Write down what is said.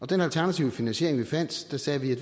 den alternative finansiering vi fandt sagde vi